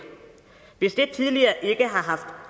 hvis det ikke tidligere